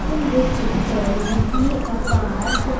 in this picture we see a park.